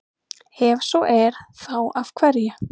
Ef svo er, þá af hverju?